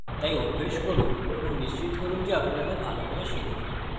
তাই অভ্যাস করুন এবং নিশ্চিত করুন যে আপনি তাদের ভালো করে শিখছেন